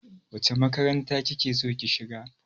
Wace makaranta ki ke so ki shiga?